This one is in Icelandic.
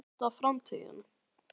Er þetta framtíðin?